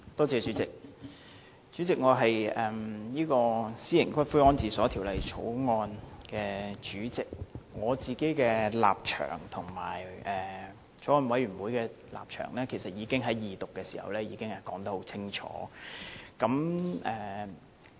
主席，我是《私營骨灰安置所條例草案》委員會主席，我自己的立場和法案委員會的立場其實已在二讀時說得很清楚。